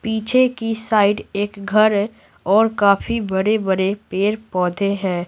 पीछे की साइड एक घर है और काफी बड़े-बड़े पेड़-पौधे हैं।